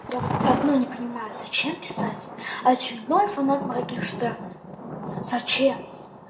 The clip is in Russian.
я вот одно не понимаю зачем писать очередной фанат моргенштерна зачем